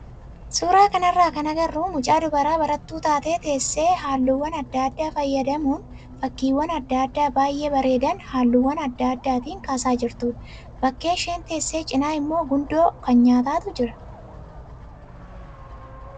Suuraa kanarraa kan agarru mucaa dubaraa barattuu taate teessee halluuwwan adda addaa fayyadamuun fakkiiwwan adda addaa baay'ee bareedan halluuwwan adda addaatiin kaasaa jirtudha. Bakka isheen teesse cinaa immoo gundoo kan nyaataatu jira.